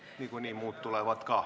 Niikuinii muud tulevad ka.